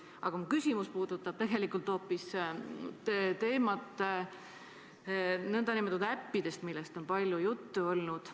Aga mu küsimus puudutab hoopis nn äppide teemat, millest on palju juttu olnud.